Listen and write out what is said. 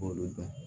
Olu dɔn